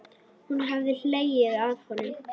Hún hefði hlegið að honum.